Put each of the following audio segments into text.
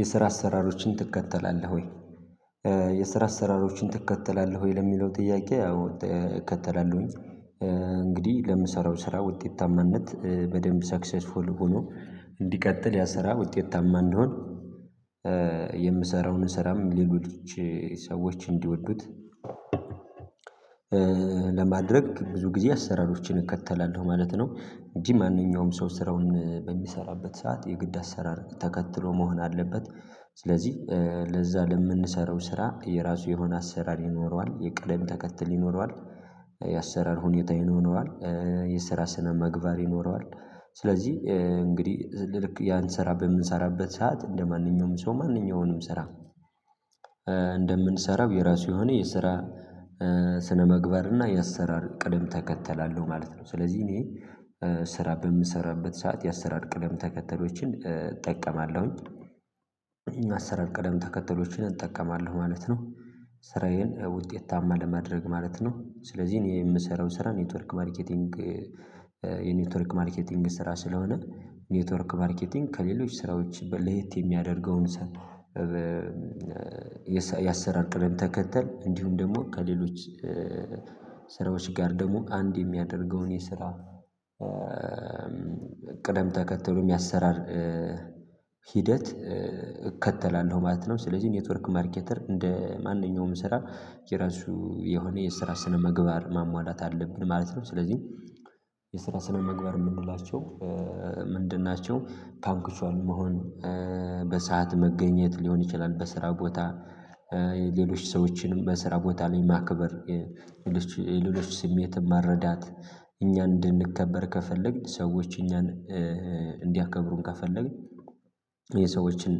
የስራ አሰራሮችን ትከተላለህ ወይ? የስራ አሰራሮችን ትከተላለህ ወይ? ለሚለው ጥያቄ አዎ እከተላለሁኝ እንግዲህ ለምሰራው ስራ ውጤታማነት በደንብ ሰክሰስፉል ሆኖ እንዲቀጥል ያ ስራ ውጤታማ እንደሆን የምሰራውን ስራም ሊሉት ሰዎች እንዲወዱት ለማድረግ ብዙ ጊዜ አሰራሮችን እከተላለሁ ማለት ነው እንጂ ማንኛውም ሰው ስራውን በሚሰራበት ሰዓት የግድ አሰራር ተከትሎ መሆን አለበት ስለዚህ ለዛ ለምንሰራው ስራ የራሱ የሆነ አሰራር ይኖረዋል የቀደም ተከትል ይኖረዋል የአሰራር ሁኔታ ይኖረዋል የሰራ ስነ ምግባር ይኖረዋል ስለዚህ እንግዲህ ልክ ያን ስራ በምንሰራበት ሰዓት እንደማንኛውም ሰው ማንኛውንም ስራ እንደምንሥራም የራሱ የሆነ የስራ ስነምግበር እና የአሰራር ቅደም ተከተላለ አለው ማለት ነው ስለዚህ እኔ ስራ በምሰራበት ሰዓት የአሰራር ቅደም ተከተሎችን እጠቀማለሁኝ የአሰራር ቅደም ተከተሎችን እጠቀማለሁ ማለት ነው ስራዬን ውጤታማ ለማድረግ ማለት ነው ስለዚህ እኔ የምሰራው ስራ ኔትወርክ ማርኬቲንግ የኔትወርክ ማርኬቲንግ ስራ ስለሆነ ኔትወርክ ማርኬቲንግ ከሌሎች ስራዎች በ ለየት የሚያደርገውን ሳን የአሰራር ቅደም ተከተል እንዲሁም ደግሞ ከሌሎች ስራዎች ጋር ደግሞ አንድ የሚያደርገውን የስራ ቅደም ተከተሉ የአሰራር ሂደት እከተላለሁ ማለት ነው ስለዚህ ኔትወርክ ማርኬተር እንደ ማንኛውም ስራ የራሱ የሆነ የስራ ስነ ምግባር ማሟላት አለብህ ማለት ነው ስለዚህ የስራ ስነ ምግባር የምንላቸው ምንድን ናቸው ፓንክችዋል መሆን በሰአት መገኘት ሊሆን ይችላል በስራ ጎታ ሌሎች ሰዎችንም በስራ ቦታ ላይ ማክበር የሌሎች ስሜትን መረዳት እኛ እንድንከበር ከፈለግን ሰዎች እኛን እንዲያከብሩን ከፈለግን የሰዎችን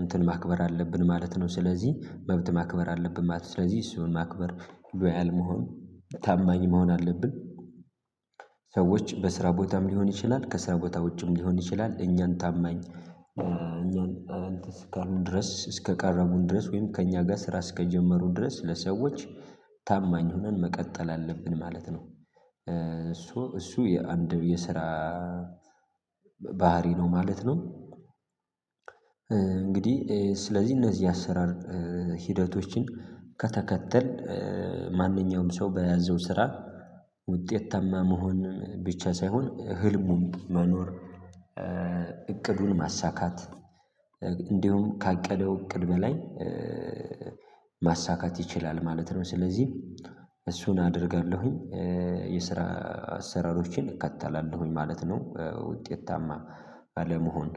እንትን ማክበር አለብን ማለት ነው ስለዚህ መብት ማክበር አለብን ማለት ነው ስለዚህ እሱን ማክበር ሎያል መሆን ታማኝ መሆን አለብን ሰዎች በስራ ቦታም ሊሆን ይችላል ከስራ ቦታ ውጪም ሊሆን ይችላል እኛን ታማኝ እኛን እንትን ስታሉን ድረስ እስከቃረቡን ድረስ ወይም ከእኛ ጋር ስራ እስከጀመሩን ድረስ ለሰዎች ታማኝ ሆነን መቀጠል አለብን ማለት ነው እሱ የአንድ የስራ ባህርይ ነው ማለት ነው እንግዲህ ስለዚህ እነዚህ አሰራር ሂደቶችን ከተከተል ማንኛውም ሰው በያዘው ስራ ውጤት ታማ መሆን ብቻ ሳይሆን ህልሙን መኖር እቅዱን ማሳካት እንዲሁም ካቀደው እቅድ በላይ ማሳካት ይችላል ማለት ነው ስለዚህ እሱን አደርጋለሁኝ የስራ አሰራሮችን እከተላለሁኝ ማለት ነው ውጤታማ አለመሆን